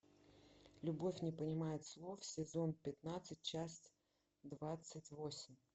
любовь не понимает слов сезон пятнадцать часть двадцать восемь